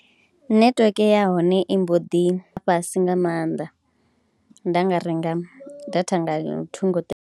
Netiweke ya hone i mbo ḓi ya fhasi nga maanḓa, nda nga renga data nga thungo.